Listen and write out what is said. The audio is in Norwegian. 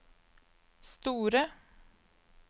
store